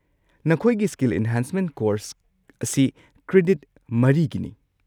ꯅꯈꯣꯏꯒꯤ skill enhancement course ꯑꯁꯤ credit ꯃꯔꯤꯒꯤꯅꯤ꯫